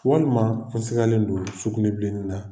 Walima n sigalen don sugunɛ bilenni na.